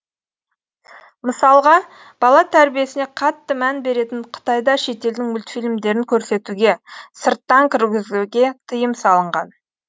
мысалға бала тәрбиесіне қатты мән беретін қытайда шетелдің мультфильмдерін көрсетуге сырттан кіргізуге тиым салынған